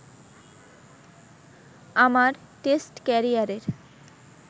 আমার টেস্ট ক্যারিয়ারের